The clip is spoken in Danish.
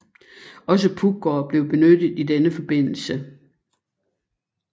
Også Puggaard blev benyttet i denne forbindelse